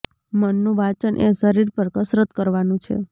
મનનું વાંચન એ શરીર પર કસરત કરવાનું છે